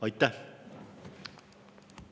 Aitäh!